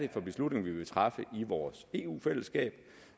beslutninger vi vil træffe i vores eu fællesskab